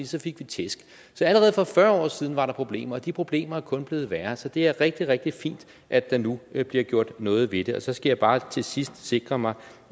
så fik vi tæsk så allerede for fyrre år siden var der problemer og de problemer er kun blevet værre så det er rigtig rigtig fint at der nu bliver gjort noget ved det så skal jeg bare til sidst sikre mig